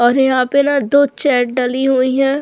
और यहां पे ना दो चेयर डली हुई है।